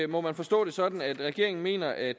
må man forstå det sådan at regeringen mener at